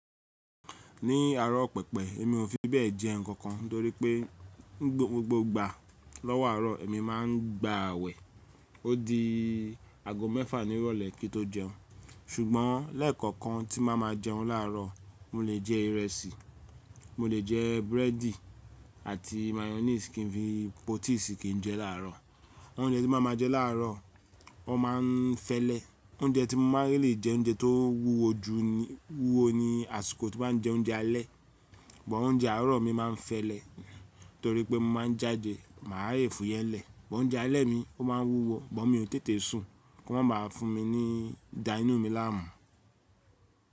Ní àárọ̀ pẹpẹ èmi ò fi bẹ́ẹ̀ jẹ ǹkan kan torípẹ́ gbogbo ìgbà lọ́wọ́ àárọ̀ èmi máa ń gba awẹ ó di aago mẹ́fà ní ìrọ̀lẹ́ kí n tó jẹun ṣùgbọ́n lẹ́ẹ̀kọ̀kan tí bàá ma jẹun láàárọ̀ mo lè jẹ ìrẹsì, mo lè jẹ búrẹ́dì àti mayonnaise kí n fi pọ tií sì kí n jẹ láàárọ̀. Oúnjẹ tí màá ma jẹ láàárọ̀ ó máa ń fẹ́lẹ́. Oúnjẹ tí mo máa lè jẹ oúnjẹ tó wúwo jù ni wúwo ni àsìkò tí màá ń jẹ oúnjẹ alẹ́. But oúnjẹ àárọ̀ mi máa ń fẹ́lẹ́ torípẹ́ mo máa ń jáde màá lè fúyẹ lẹ́ but oúnjẹ alẹ́ mi o máa ń wúwo, but mi ò n tètè sùn kó má ba à fún mi ní da inú mi láàmú.